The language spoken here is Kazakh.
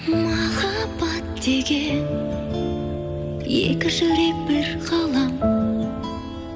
махаббат деген екі жүрек бір ғалам